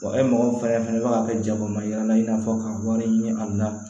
e mɔgɔ fɛnɛ bɛ ka kɛ jago ma ɲɛna i n'a fɔ ka wari ɲini an la